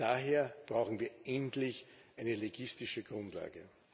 Daher brauchen wir endlich eine legistische Grundlage.